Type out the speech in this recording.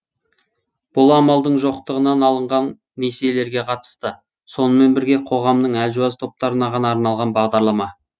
бұл амалдың жоқтығынан алынған несиелерге қатысты сонымен бірге қоғамның әлжуаз топтарына ғана арналған бағдарлама